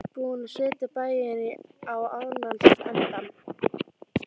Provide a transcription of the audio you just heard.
Búin að setja bæinn á annan endann.